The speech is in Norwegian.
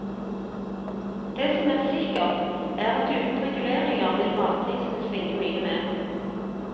Det som er sikkert, er at uten reguleringer vil matprisene svinge mye mer.